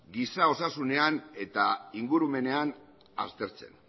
giza osasunean eta ingurumenean aztertzen